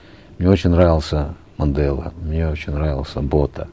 мне очень нравился мандела мне очень нравился бота